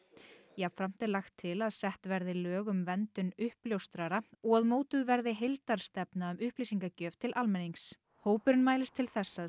jafnframt er lagt til að sett verði lög um verndun uppljóstrara og að mótuð verði heildarstefna um upplýsingagjöf til almennings hópurinn mælist til þess að